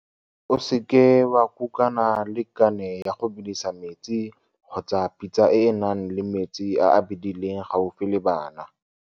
O seke wa kukana le kane ya go bedisa metsi kgotsa pitsa e e nang le metsi a a bedileng gaufi le bana.